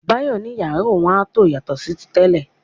Báyọ̀ ní yàrá òun a tó yàtọ̀ sí ti tẹ́lẹ̀.